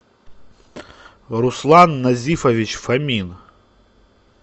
руслан назифович фомин